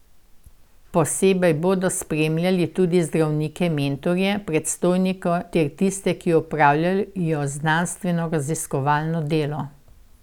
Posebej bodo spremljali tudi zdravnike mentorje, predstojnike ter tiste, ki opravljajo znanstveno raziskovalno delo.